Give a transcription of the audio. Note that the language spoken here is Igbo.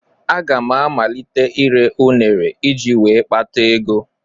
Aga m amalite ire ụnere iji wee kpata ego.